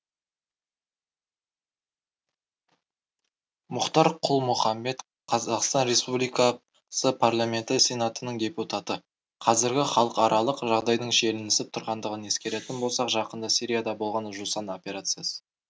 мұхтар құл мұхаммед қазақстан республиксы парламенті сенатының депутаты қазіргі халықаралық жағдайдың шиелінісіп тұрғандығын ескеретін болсақ жақында сирияда болған жусан операциясы